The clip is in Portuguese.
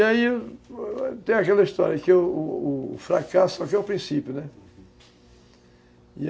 E aí tem aquela história que o o fracasso só quer é o princípio, né?